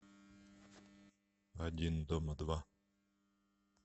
один дома два